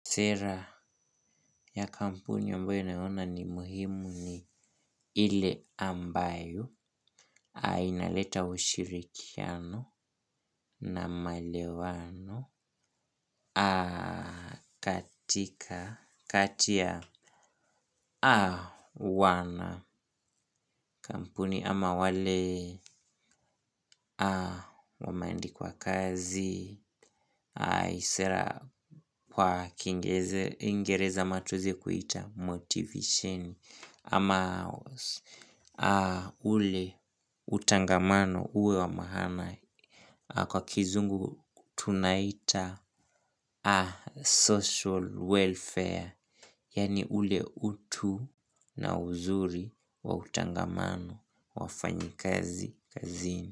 Sera ya kampuni ambayo naona ni muhimu ni ile ambayo. A inaleta ushirikiano na malewano. A katika kati ya. A wana kampuni ama wale. A wamandikwa kazi. A isera kwa kingereza ama tueze kuita motivation. Ama ule utangamano uwe wa mahana. Kwa kizungu tunaita social welfare. Yani ule utu na uzuri wa utangamano wafanyikazi kazini.